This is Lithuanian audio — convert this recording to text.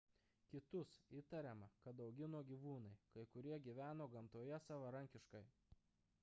kitus įtariama kad augino gyvūnai kai kurie gyveno gamtoje savarankiškai